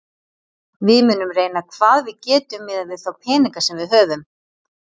Við munum reyna hvað við getum miðað við þá peninga sem við höfum.